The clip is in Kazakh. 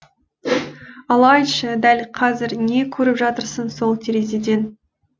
ал айтшы дәл қазір не көріп жатырсың сол терезеден